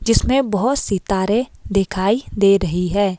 जिसमें बहुत सितारे दिखाई दे रही है।